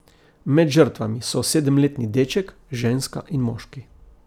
Med žrtvami so sedemletni deček, ženska in moški.